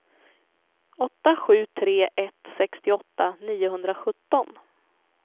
åtta sju tre ett sextioåtta niohundrasjutton